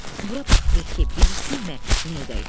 Bura bax Beki, bilirsənmi nə edək?